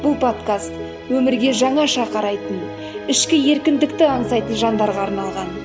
бұл подкаст өмірге жаңаша қарайтын ішкі еркіндікті аңсайтын жандарға арналған